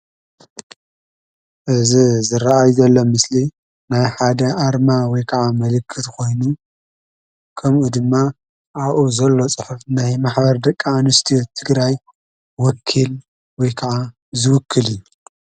እዚ ዝረአይ ዘሎ ምስሊ ናይ ሓደ አርማ ወይ ከዓ ምልክት ኮይኑ ከምኡ ድማ አብኡ ዘሎ ፅሑፍ ናይ ማሕበር ደቂ አንስትዮ ህዝቢ ትግራይ ወኪል ወይ ከዓ ዝውክል እዩ።